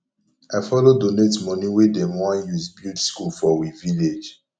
i follow donate moni wey dem wan use build skool for we village